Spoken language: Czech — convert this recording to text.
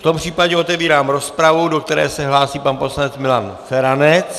V tom případě otevírám rozpravu, do které se hlásí pan poslanec Milan Feranec.